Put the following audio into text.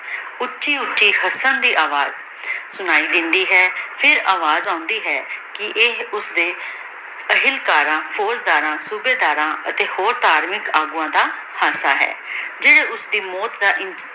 ਓਚੋ ਓਛੀ ਹਸਨ ਦੀ ਅਵਾਜ਼ ਸੁਨਾਈ ਦੇਂਦੀ ਹੈ ਫੇਰ ਅਵਾਜ਼ ਆਉਂਦੀ ਹੈ ਕੀ ਈਯ ਓਸਦੀ ਪਹਲਾ ਤਰਾਂ ਫੋਉਗ ਦਰਾਂ ਸੋਬਾਯ ਦਰਾਂ ਤੇ ਅਤੀ ਧਾਰਮਿਕ ਅਗਵਾਨ ਦਾ ਹਾਸਾ ਹੈ ਜੇਰੀ ਓਸਦੀ ਮੋਉਤ ਦਾ